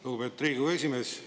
Lugupeetud Riigikogu esimees!